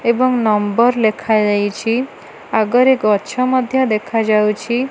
ଏବଂ ନମ୍ବର ଲେଖାଯାଇଛି। ଆଗରେ ଗଛ ମଧ୍ୟ ଦେଖାଯାଉଛି।